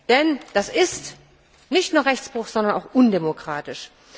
Denn das ist nicht nur Rechtsbruch, sondern auch undemokratisch.